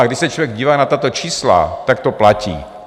A když se člověk dívá na tato čísla, tak to platí.